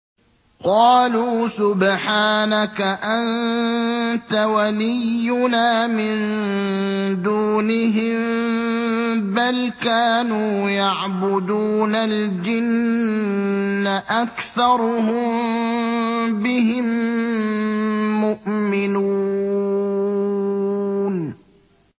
قَالُوا سُبْحَانَكَ أَنتَ وَلِيُّنَا مِن دُونِهِم ۖ بَلْ كَانُوا يَعْبُدُونَ الْجِنَّ ۖ أَكْثَرُهُم بِهِم مُّؤْمِنُونَ